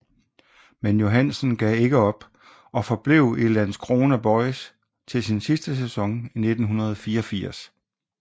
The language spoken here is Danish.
Men Johansson gav ikke op og forblev i Landskrona BoIS til sin sidste sæson i 1984